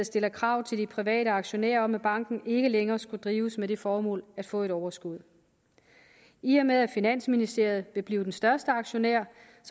stiller krav til de private aktionærer om at banken ikke længere skal drives med det formål at få et overskud i og med at finansministeriet vil blive den største aktionær